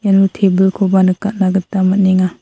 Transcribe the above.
ian tebilkoba nikatna gita man·enga.